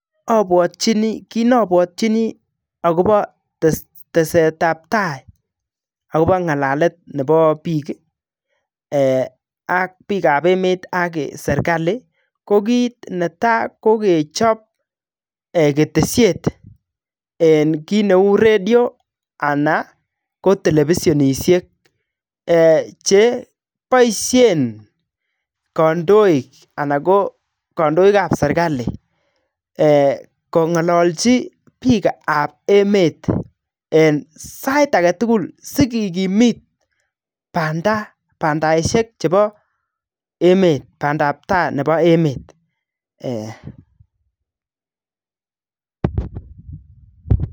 Abwatyini kit neabwatyini akobo tesetabtai akobo ng'alalet ne bo biik eeh ak biikab emet ak serikali ko kit netai kokechob eeh ketesiet kit neu redio ana ko televisionisiek cheboisien kandoik anan ko kandoikab serikali eeh kong'olochi biikab emet en sait agetugul sikikimit banda bandaisiek chebo emet bandab taa nebo emet ee.